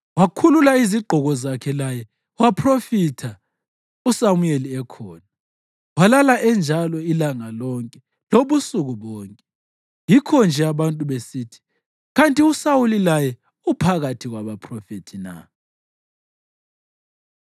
Wakhulula izigqoko zakhe laye waphrofitha uSamuyeli ekhona. Walala enjalo ilanga lonke lobusuku bonke. Yikho-nje abantu besithi, “Kanti uSawuli laye uphakathi kwabaphrofethi na?”